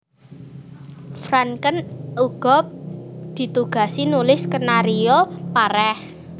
Franken uga ditugasi nulis skenario Pareh